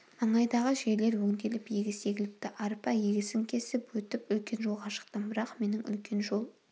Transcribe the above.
маңайдағы жерлер өңделіп егіс егіліпті арпа егісін кесіп өтіп үлкен жолға шықтым бірақ менің үлкен жол